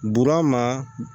Burama